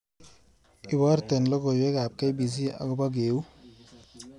Iborte logoywekab k.b.c agoba keuu